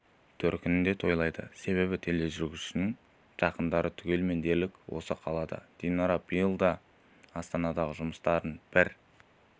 төркінінде тойлайды себебі тележүргізушінің жақындары түгелімен дерлік осы қалады динара биыл да астанадағы жұмыстарын бір